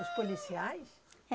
Os policiais?